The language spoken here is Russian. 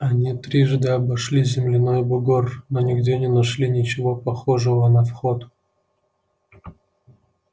они трижды обошли земляной бугор но нигде не нашли ничего похожего на вход